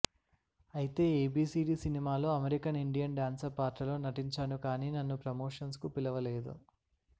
అయితే ఏబీసీడీ సినిమాలో American Indian dancer పాత్రలో నటించాను కానీ నన్ను ప్రమోషన్స్కు పిలవలేదు